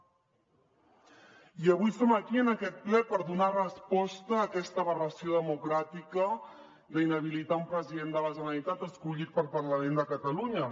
i avui som aquí en aquest ple per donar resposta a aquesta aberració democràtica d’inhabilitar a un president de la generalitat escollit pel parlament de catalunya